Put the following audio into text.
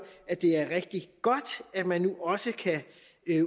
at det er rigtig godt at man nu også kan